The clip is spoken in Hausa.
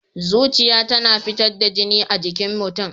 Zuciya tana fitar da jini a jikin mutum.